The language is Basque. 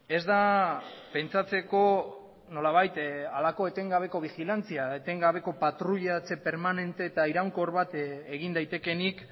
ez da pentsatzeko nolabait halako etengabeko bigilantzia etengabeko patruiatze permanente eta iraunkor bat egin daitekeenik